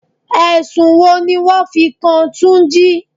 Ẹ̀sùn wo ni wọn fi kan túnjí?